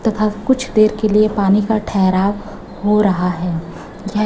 तथा कुछ देर के लिए पानी का ठहराव हो रहा है यह--